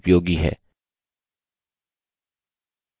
इसके दो मुख्य उपयोग हैं